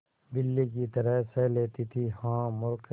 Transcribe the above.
बिल्ली की तरह सह लेती थीहा मूर्खे